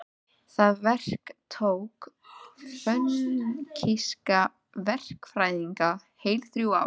Það verk tók fönikíska verkfræðinga heil þrjú ár.